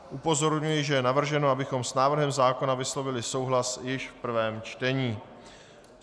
Upozorňuji, že je navrženo, abychom s návrhem zákona vyslovili souhlas již v prvém čtení.